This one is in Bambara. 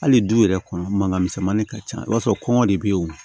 Hali du yɛrɛ kɔnɔ mankan misɛnmani ka ca i b'a sɔrɔ kɔngɔ de bɛ ye o